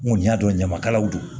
N kɔni y'a dɔn ɲamakalaw don